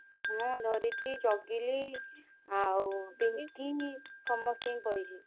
ହଁ ଧରିତ୍ରୀ ଚଗିଲି ଆଉ ପିଂକି ସମସ୍ତିଂକି କହିଛି।